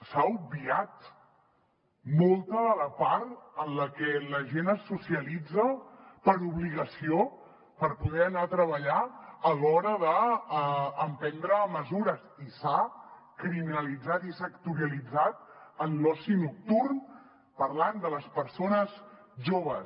s’ha obviat molta de la part en la que la gent es socialitza per obligació per poder anar a treballar a l’hora d’emprendre mesures i s’ha criminalitzat i sectorialitzat en l’oci nocturn parlant de les persones joves